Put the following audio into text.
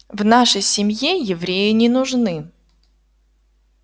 в нашей семье евреи не нужны